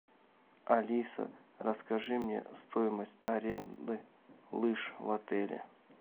алиса расскажи мне стоимость аренды лыж в отеле